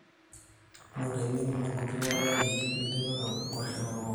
noto engeno nagut wo olari litipika kwashen olkokoyok